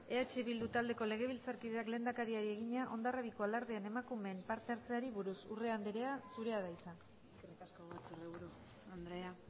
eh bildu taldeko legebiltzarkideak lehendakariari egina hondarribiko alardean emakumeen parte hartzeari buruz urrea andrea zurea da hitza eskerrik asko legebiltzarburu andrea